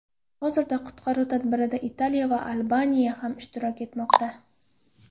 Hozirda qutqaruv tadbirida Italiya va Albaniya ham ishtirok etmoqda.